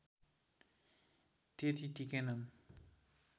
त्यति टिकेनन्